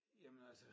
Jamen altså